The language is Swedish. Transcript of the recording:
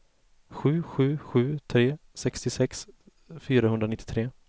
sju sju sju tre sextiosex fyrahundranittiotre